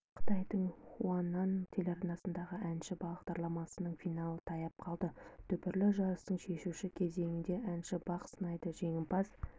қытайдың хунан телеарнасындағы әнші бағдарламасының финалы таяп қалды дүбірлі жарыстың шешуші кезеңінде әнші бақ сынайды жеңімпаз